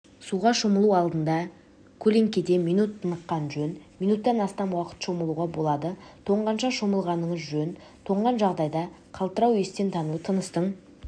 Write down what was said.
суға шомылу алдында көлеңкеде минут тыныққан жөн минуттан астам уақыт шомылуға болады тоңғанша шомылмағаныңыз жөн тоңған жағдайда қалтырау естен тану тыныстың